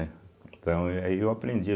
eh Então, e aí eu aprendi.